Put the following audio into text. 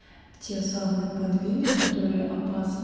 те самые подвиды которые опасны